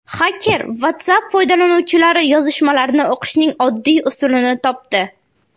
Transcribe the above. Xaker WhatsApp foydalanuvchilari yozishmalarini o‘qishning oddiy usulini topdi.